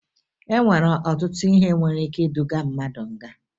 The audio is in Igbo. E nwere ọtụtụ ihe nwere ike iduga mmadụ nga